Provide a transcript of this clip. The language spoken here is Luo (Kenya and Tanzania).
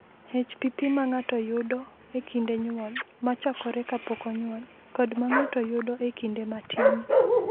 "HPP ma ng’ato yudo e kinde nyuol (ma chakore kapok onyuol) kod ma ng’ato yudo e kinde matin,